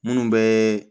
Minnu bɛ